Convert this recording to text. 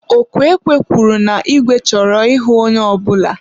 ọkụ ekwe kwuru na igwe chọrọ ịhụ onye ọbụla.